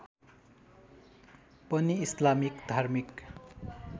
पनि इस्लामिक धार्मिक